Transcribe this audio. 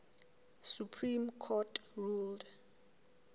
supreme court ruled